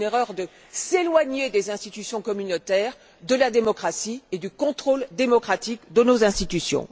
C'est une erreur de s'éloigner des institutions communautaires, de la démocratie et du contrôle démocratique de nos institutions.